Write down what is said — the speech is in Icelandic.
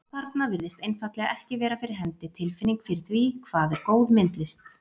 Og þarna virðist einfaldlega ekki vera fyrir hendi tilfinning fyrir því, hvað er góð myndlist.